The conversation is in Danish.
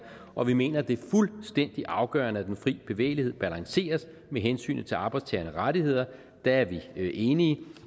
og vi mener det er fuldstændig afgørende at den fri bevægelighed balanceres med hensynet til arbejdstagernes rettigheder der er vi enige